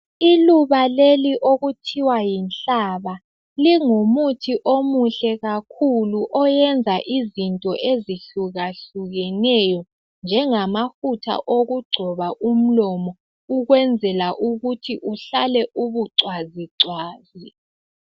Iluba leli okuthiwa yinhlaba. Lingumuthi omuhle kakhulu .Oyenza izinto ezihlukahlukeneyo, njengamafutha okugcoba umlomo. Ukwenzela ukuthi uhlale, ubucwazicwazi.